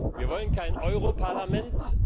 Wir wollen kein Euro Parlament.